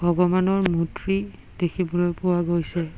ভগৱানৰ মূৰ্তি দেখিবলৈ পোৱা গৈছে।